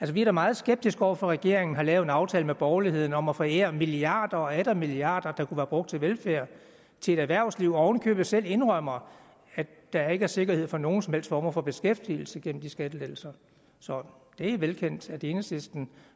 vi er da meget skeptiske over for at regeringen har lavet en aftale med borgerligheden om at forære milliarder og atter milliarder der kunne være brugt til velfærd til et erhvervsliv og oven i købet selv indrømmer at der ikke er sikkerhed for nogen som helst form for beskæftigelse gennem de skattelettelser så det er velkendt at enhedslisten